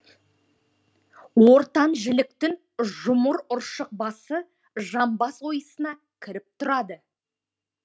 ортан жіліктің жұмыр ұршық басы жамбас ойысына кіріп тұрады